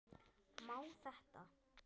Má þetta?